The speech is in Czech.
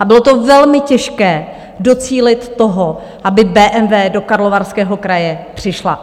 A bylo to velmi, těžké docílit toho, aby BMW do Karlovarského kraje přišla.